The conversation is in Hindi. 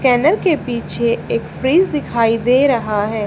स्कैनर के पीछे एक फ्रिज दिखाई दे रहा है।